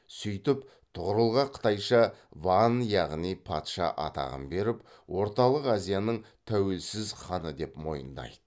сөйтіп тұғырылға қытайша ван яғни патша атағын беріп орталық азияның тәуелсіз ханы деп мойындайды